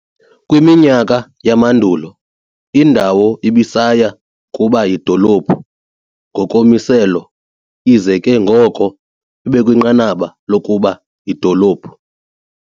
Kwiminyaka yamandulo, indawo ibisaya kuba yidolophu ngokommiselo, ize ke ngoko ibekwinqanaba lokuba yidolophu.